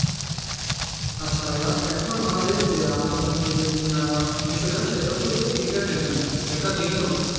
আচ্ছা, ভাইয়া এখন আমাদের যে আলোচনা যে আহ বিষয়টা সেইটা হচ্ছে যে entertainment যেটা বিনোদন,